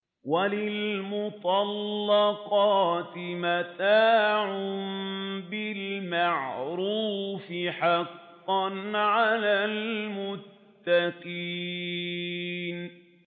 وَلِلْمُطَلَّقَاتِ مَتَاعٌ بِالْمَعْرُوفِ ۖ حَقًّا عَلَى الْمُتَّقِينَ